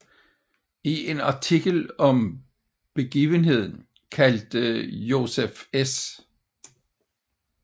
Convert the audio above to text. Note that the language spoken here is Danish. I en artikel om begivenheden kaldte Joseph S